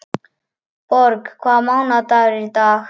Borg, hvaða mánaðardagur er í dag?